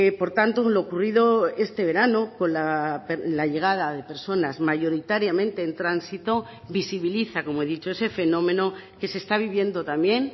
por tanto lo ocurrido este verano con la llegada de personas mayoritariamente en tránsito visibiliza como he dicho ese fenómeno que se está viviendo también